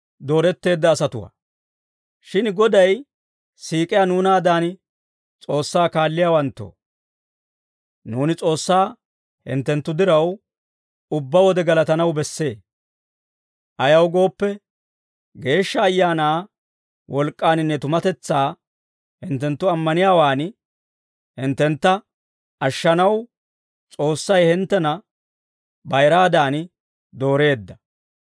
Shin Goday siik'iyaa nuunaadan S'oossaa kaalliyaawanttoo, nuuni S'oossaa hinttenttu diraw, ubbaa wode galatanaw bessee. Ayaw gooppe, Geeshsha Ayaanaa wolk'k'aaninne tumatetsaa hinttenttu ammaniyaawaan hinttentta ashshanaw, S'oossay hinttena bayiraadan dooreedda.